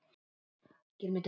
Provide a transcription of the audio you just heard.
Tengsl sem verða ekki rofin.